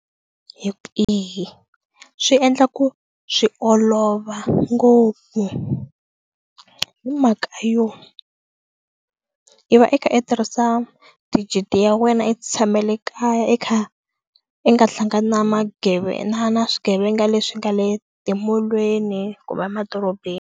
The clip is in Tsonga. swi endla ku swi olova ngopfu hi mhaka yo i va i kha i tirhisa digit ya wena i ti tshamele kaya i kha i nga hlangani na na na swigevenga leswi nga le timolweni kumbe madorobeni.